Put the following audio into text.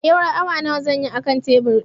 Tsayuwar awa nawa zan yi a kan tebur ɗin